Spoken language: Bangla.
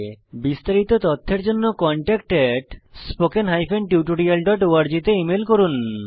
বিস্তারিত তথ্যের জন্য contactspoken tutorialorg তে ইমেল করুন